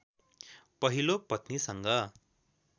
पहिलो पत्नीसँग